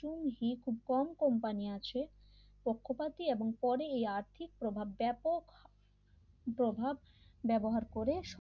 টঙ্গী খুব কম কোম্পানি আছে পক্ষপাতী এবং পরে এই আর্থিক প্রভাব ব্যাপক প্রভাব ব্যবহার করে